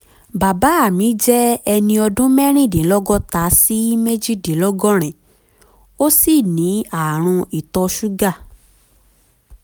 bàbá mi jẹ́ ẹni ọdún mẹ́rìndínlọ́gọ́ta sí méjìdínlọ́gọ́rin ó sì ní ààrùn ìtọ̀ ṣúgà